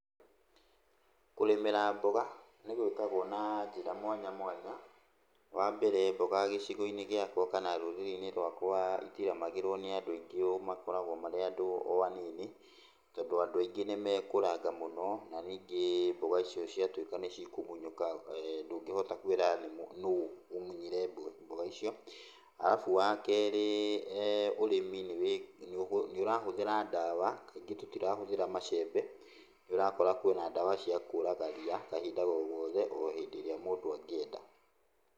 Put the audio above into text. Kũrĩmĩra mboga nĩ gwĩkagwo na njĩra mwanya mwanya. Wa mbere mboga gĩcigo-inĩ gĩakwa kan rũrĩrĩ-inĩ rwakwa itirĩmagĩrwo nĩ andũ aingĩ ũũ, makoragwo marĩ andũ o anini, tondũ andũ aingĩ nĩ mekũranga mũno na ningĩ mboga icio ciatuĩka nĩcikũgunyũka ndũnĩhota kwĩra nũũ ũmunyire mboga icio. Alafu wakerĩ, ũrĩmi nĩ ũrahũthĩra ndawa, kaingĩ tũtirahũthĩra macembe nĩ ũrakora kwĩna ndawa cia kũraga ria kahinda o gothe o hĩndĩ ĩrĩa mũndũ angĩenda.